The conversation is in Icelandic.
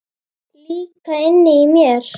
Líka inni í mér.